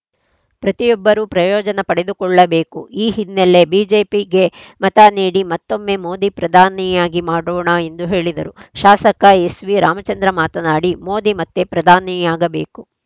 ಪ್ರತಿಯೊಬ್ಬರೂ ಪ್ರಯೋಜನ ಪಡೆದುಕೊಳ್ಳಬೇಕು ಈ ಹಿನ್ನೆಲೆ ಬಿಜೆಪಿಗೆ ಮತ ನೀಡಿ ಮತ್ತೊಮ್ಮೆ ಮೋದಿ ಪ್ರಧಾನಿಯಾಗಿ ಮಾಡೊಣ ಎಂದು ಹೇಳಿದರು ಶಾಸಕ ಎಸ್‌ವಿ ರಾಮಚಂದ್ರ ಮಾತನಾಡಿ ಮೋದಿ ಮತ್ತೆ ಪ್ರಧಾನಿಯಾಗಬೇಕು